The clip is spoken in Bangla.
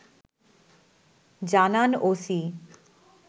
জানান ওসি